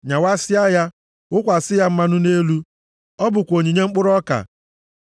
Nyawasịa ya, wụkwasị ya mmanụ nʼelu, ọ bụkwa onyinye mkpụrụ ọka.